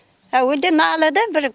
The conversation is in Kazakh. әуелде налыды бір